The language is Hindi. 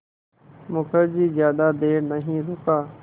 मुखर्जी ज़्यादा देर नहीं रुका